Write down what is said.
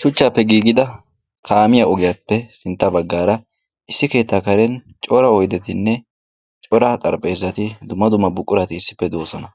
Shuchchaappe giigida kaamiya ogiyappe sintta baggaara issi keettaa karen cora oydetinne cora xarphpheezati, dumma dumma buqurati issippe doosona.